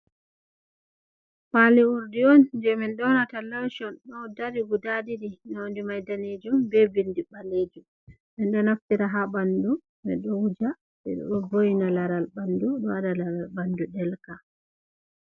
Pali urdi on je min ɗonata lation ɗo dari guda ɗiɗi, nonde mai danejum be bindi ɓalejum, min ɗo naftira ha ɓanɗu min ɗo wuja, minɗo vo’ina laral ɓanɗu ɗo waɗa laral ɓanɗu ɗelka.